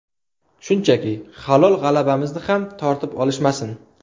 Shunchaki, halol g‘alabamizni ham tortib olishmasin.